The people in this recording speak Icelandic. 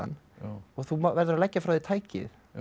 og þú verður að leggja frá þér tækið